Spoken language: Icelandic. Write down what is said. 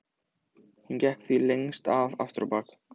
Hann gekk því lengst af aftur á bak.